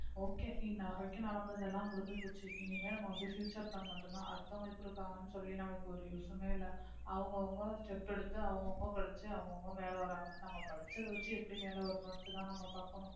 okay இன்ன வரைக்கும் நடந்தது எல்லாம் முடிஞ்சு போச்சு இனிமே நம்ம வந்து future plan மட்டும்தான் அடுத்தவங்க எப்படி இருக்காங்கன்னு சொல்லி நமக்கு ஒரு use மே இல்லை அவங்கவங்க step எடுத்து அவங்கவங்க படிச்சு அவங்கவங்க மேலே வர்றாங்க நம்ம படிச்சதை வச்சு எப்படி மேலே வரணும்ன்னுட்டுதான் நம்ம பாக்கணும்